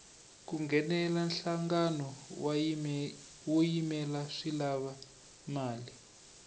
ku nghenela nhlangano wo yimela swi lava mali